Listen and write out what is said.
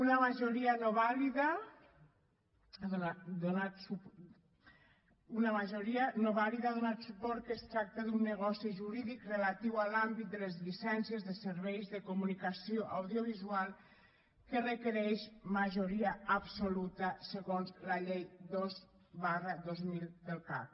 una majoria no vàlida ha donat suport al fet que es tracta d’un negoci jurídic relatiu a l’àmbit de les llicències de serveis de comunicació audiovisual que requereix majoria absoluta segons la llei dos dos mil del cac